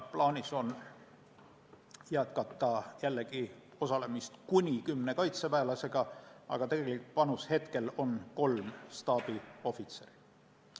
Plaanis on jätkata osalemist kuni kümne kaitseväelasega, aga meie tegelik panus on praegu kolm staabiohvitseri.